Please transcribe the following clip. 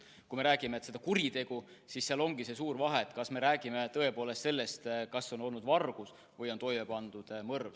Kui me räägime kuriteost, siis on suur vahe, kas me räägime tõepoolest vargusest või sellest, et on toime pandud mõrv.